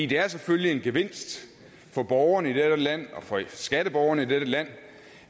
det er selvfølgelig en gevinst for borgerne i dette land og for skatteborgerne i dette land